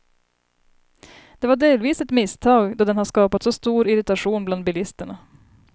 Det var delvis ett misstag då den har skapat så stor irritation bland bilisterna.